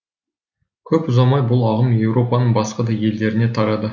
көп ұзамай бұл ағым еуропаның басқа да елдеріне тарады